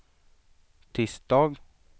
tisdag